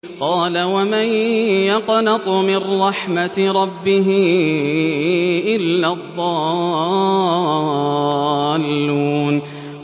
قَالَ وَمَن يَقْنَطُ مِن رَّحْمَةِ رَبِّهِ إِلَّا الضَّالُّونَ